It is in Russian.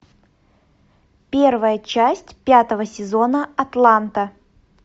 первая часть пятого сезона атланта